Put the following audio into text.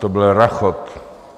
To byl rachot.